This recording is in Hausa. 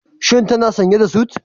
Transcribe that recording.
Shi tana sanye da sut.